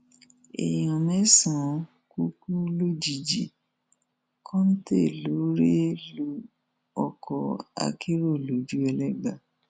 èèyàn mẹsànán kú kú lójijì kọńté ló rẹ lu ọkọ akèrò lojúẹlẹgba